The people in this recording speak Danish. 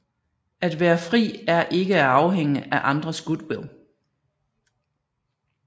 At være fri er ikke at afhænge af andres goodwill